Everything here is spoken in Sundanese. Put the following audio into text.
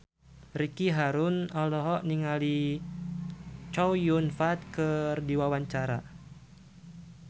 Ricky Harun olohok ningali Chow Yun Fat keur diwawancara